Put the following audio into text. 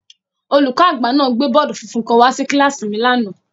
Olùkọ́-agba náà gbé bọọdi funfun kan wá sí kíláàsì mi lánàá.